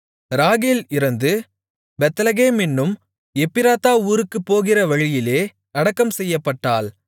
ராகேல் இறந்து பெத்லகேம் என்னும் எப்பிராத்தா ஊருக்குப் போகிற வழியிலே அடக்கம் செய்யப்பட்டாள்